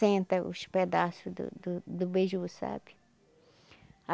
Senta os pedaço do do do beiju, sabe?